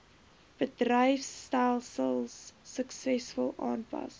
bedryfstelsels suksesvol aanpas